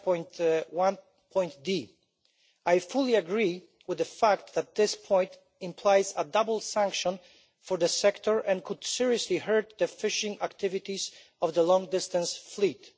5.1. I fully agree with the fact that this point implies a double sanction for this sector and could seriously hurt the fishing activities of the long-distance fleet.